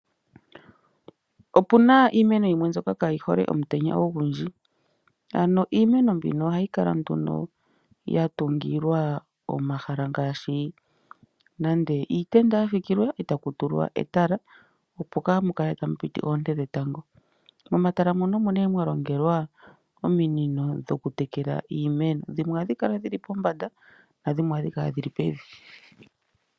Opena iimeno yimwe mbyoka kaayihole omutenya ogundji. Ano iimeno mbika ohai kala nduno yatungilwa omahala ngaashi nande iitenda yafikilwa ko taku tulwa etala yili pombanda